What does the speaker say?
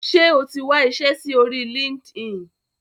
Ṣe o tí wá iṣé rí lori Linkedin?